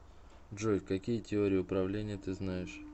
джой какие теория управления ты знаешь